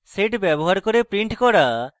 sed ব্যবহার করে print করা line addressing